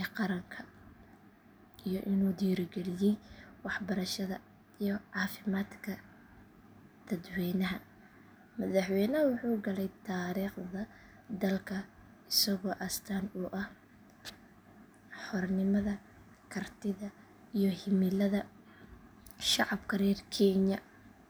ee qaranka iyo inuu dhiirrigeliyay waxbarashada iyo caafimaadka dadweynaha. Madaxweynahan wuxuu galay taariikhda dalka isagoo astaan u ah xornimada, kartida iyo himilada shacabka reer kenya.